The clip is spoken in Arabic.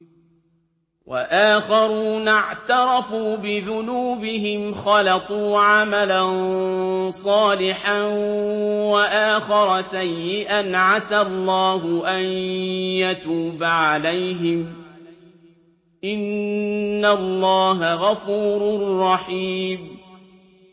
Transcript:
وَآخَرُونَ اعْتَرَفُوا بِذُنُوبِهِمْ خَلَطُوا عَمَلًا صَالِحًا وَآخَرَ سَيِّئًا عَسَى اللَّهُ أَن يَتُوبَ عَلَيْهِمْ ۚ إِنَّ اللَّهَ غَفُورٌ رَّحِيمٌ